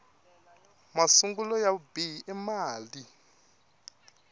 masungulo ya vubihi i mali